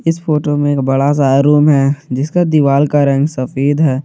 इस फोटो में एक बड़ा सा रूम है जिसका दीवाल का रंग सफेद है।